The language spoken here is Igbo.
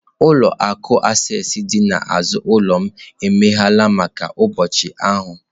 Ụlọ akụ Access dị n'azụ ụlọ m emeghela maka ụbọchị ahụ.